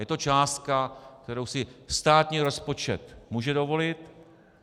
Je to částka, kterou si státní rozpočet může dovolit.